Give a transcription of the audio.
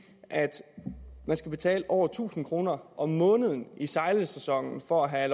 at man skal betale over tusind kroner om måneden i sejlersæsonen for at